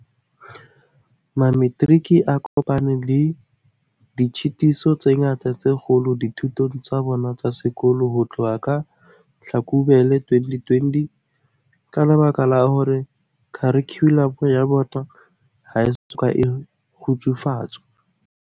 Mametiriki a kopane le ditshitiso tse ngata tse kgolo dithutong tsa bona tsa sekolo ho tloha ka Hlakubele 2020 ka lebaka la hore kharikhulamo ya bona ha e soka e kgutsufatswa.